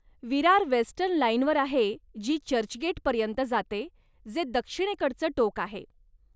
Virar western लाईनवर आहे जी चर्चगेट पर्यंत जाते, जे दक्षिणेकडचं टोक आहे.